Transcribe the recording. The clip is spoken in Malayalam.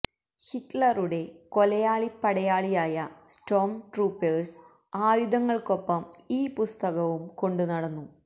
ഹിറ്റ്ലറുടെ കൊലയാളിപ്പടയാളിയായ സ്റ്റോം ട്രൂപ്പേഴ്സ് ആയുധങ്ങൾക്കൊപ്പം ഈ പുസ്തകവും കൊണ്ടു നടന്നു